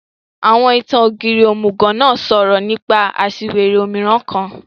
Àwọn ìtan-Ogírì ómugọ náà sọrọ nipa aṣiwere ómiràn kan